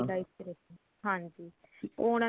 life ਚ ਰਹੇ ਹਾਂਜੀ ਉਹ